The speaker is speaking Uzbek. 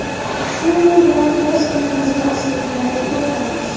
Shu yo‘l bilan biz uyimizni o‘simliklarga to‘ldiramiz.